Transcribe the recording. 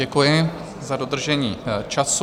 Děkuji za dodržení času.